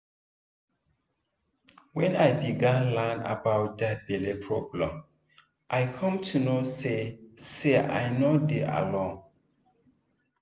when i begin learn about that belle problem i come know say say i no dey alone